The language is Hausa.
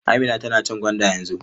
Amina tana cin gwanda yanzu.